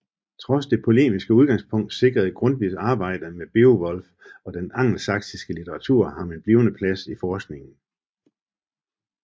Trods det polemiske udgangspunkt sikrede Grundtvigs arbejde med Beowulf og den angelsaksiske litteratur ham en blivende plads i forskningen